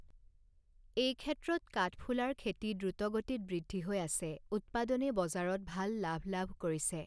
এই ক্ষেত্ৰত কাঠফুলাৰ খেতি দ্ৰুতগতিত বৃদ্ধি হৈ আছে, উৎপাদনে বজাৰত ভাল লাভ লাভ কৰিছে।